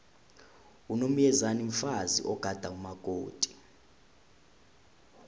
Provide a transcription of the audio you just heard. unomyezane mfazi ogada umakoti